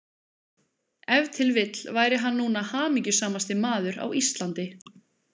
Ef til vill væri hann núna hamingjusamasti maður á Íslandi.